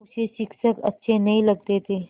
उसे शिक्षक अच्छे नहीं लगते थे